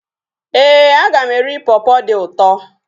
Éè, aga m eri pọpọ dị ụtọ